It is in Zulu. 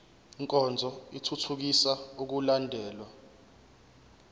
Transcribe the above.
nkonzo ithuthukisa ukulandelwa